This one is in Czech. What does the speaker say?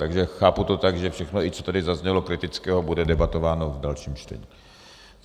Takže chápu to tak, že všechno, i co tady zaznělo kritického, bude debatováno v dalším čtení.